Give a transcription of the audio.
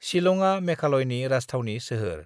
शिलंआ मेघालयनि राजथावनि सोहोर।